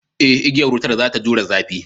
Eh, igiyar wutar za ta jure zafi